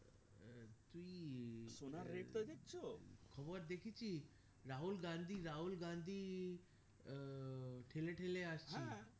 খবর দেখেছি রাহুল গান্ধী রাহুল গান্ধী আহ ঠেলে ঠেলে আসছে